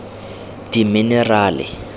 dimenerale